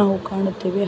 ನಾವು ಕಾಣುತ್ತೇವೆ